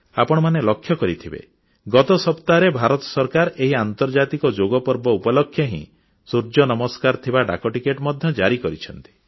ଆପଣମାନେ ଲକ୍ଷ୍ୟ କରିଥିବେ ଗତ ସପ୍ତାହରେ ଭାରତ ସରକାର ଏହି ଆନ୍ତର୍ଜାତିକ ଯୋଗ ପର୍ବ ଉପଲକ୍ଷେ ହିଁ ସୂର୍ଯ୍ୟ ନମସ୍କାର ଥିବା ଡାକଟିକଟ ମଧ୍ୟ ଜାରି କରିଛନ୍ତି